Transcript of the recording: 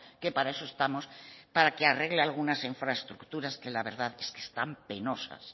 que para eso estamos para que arregle algunas infraestructuras que la verdad es que están penosas